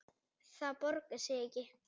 Það borgar sig ekki